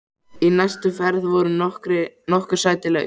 Í næstu ferð voru nokkur sæti laus.